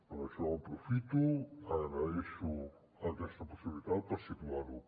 per això aprofito agraeixo aquesta possibilitat per situar ho